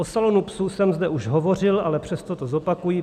O salonu psů jsem zde už hovořil, ale přesto to zopakuji.